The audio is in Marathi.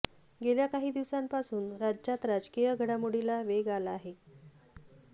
गेल्या काही दिवसांपासून राज्यात राजकीय घडामोडीला वेग आला आहे